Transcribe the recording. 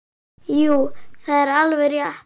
Jú, það er alveg rétt.